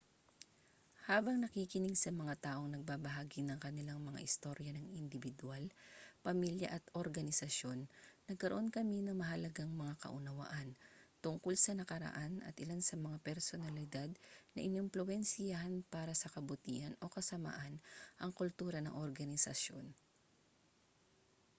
habang nakikinig sa mga taong nagbabahagi ng kanilang mga istorya ng indibidwal pamilya at organisasyon nagkaroon kami ng mahalagang mga kaunawaan tungkol sa nakaraan at ilan sa mga personalidad na inimpluwensiyahan para sa kabutihan o kasamaan ang kultura ng organisasyon